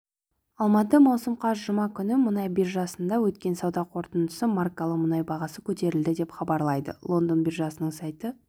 алматы маусым қаз жұма күні мұнай биржасында өткен сауда қорытындысында маркалы мұнай бағасы көтерілді деп хабарлайды лондон биржасының сайты